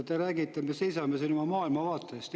Te räägite, et me seisame oma maailmavaate eest.